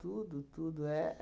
Tudo, tudo.